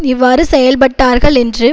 இவ்வாறு செயல்பட்டார்கள் என்று